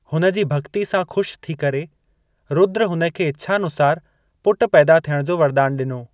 हुनजी भक्ति सां खु़शि थी करे, रुद्र हुन खे इच्‍छानुसार पुट पैदा थियण जो वरदान ॾिनो।